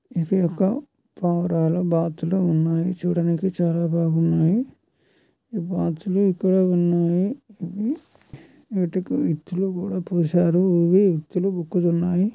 ఇది ఒక పావురాలు బాతులు ఉన్నాయ్ చూడనికి చాలా బావున్నాయి బాతులు ఇక్కడ ఉన్నాయి వీటికి ఇత్తులు కూడ పోసారు ఇవి ఇత్తులు పొక్కుతున్నాయి.